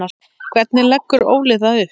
Hvernig leggur Óli það upp?